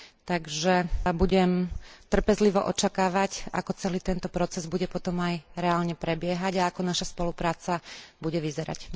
Takže budem trpezlivo očakávať, ako celý tento proces bude potom aj reálne prebiehať a ako naša spolupráca bude vyzerať.